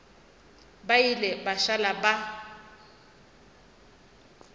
ba ile ba šala ba